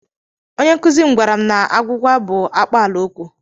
Onye nkụzi m gwara m na agwụgwa bụ akpaala okwu.